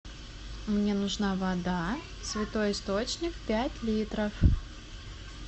мне нужна вода святой источник пять литров